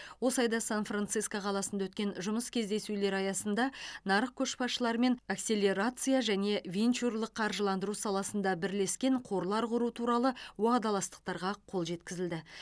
осы айда сан франциско қаласында өткен жұмыс кездесулері аясында нарық көшбасшыларымен акселерация және венчурлық қаржыландыру саласында бірлескен қорлар құру туралы уағдаластықтарға қол жеткізілді